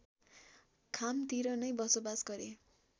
खामतिर नै बसोबास गरे